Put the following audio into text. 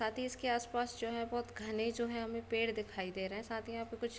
साथ ही इसके आस-पास जो है बोहत घने जो है हमे पेड़ दिखाई दे रहे है साथ ही यहां पे कुछ --